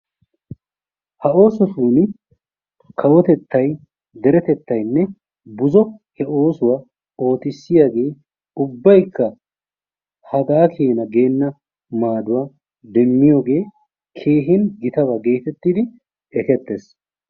ha oosotuni kawotettay deretettaynne buzzo he oosuwa ootissiyagee ubaykka hagaa keena geenna maaduwa demmiyogee keehin gitaba getettidi ekketees.